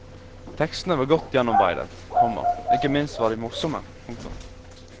Tekstene var godt gjennomarbeidet, komma ikke minst var de morsomme. punktum